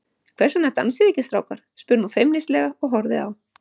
Hvers vegna dansið þið ekki, strákar? spurði hún feimnislega og horfði á